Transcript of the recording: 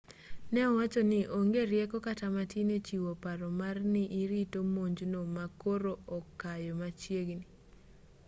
ne owacho ni onge rieko kata matin e chiwo paro mar ni irito monjno ma koro okayo machiegni